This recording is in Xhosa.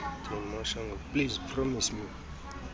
please promise me